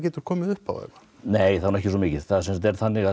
komið upp nei það er nú ekki svo mikið það er þannig að